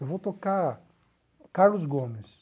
Eu vou tocar Carlos Gomes.